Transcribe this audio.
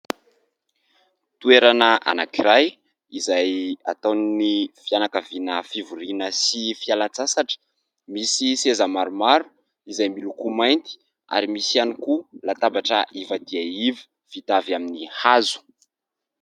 Toerana anankiray izay ataon'ny fianankaviana fivoriana sy fialan-tsasatra, misy seza maromaro izay miloko mainty ary misy ihany koa latabatra iva dia iva vita avy amin'ny hazo.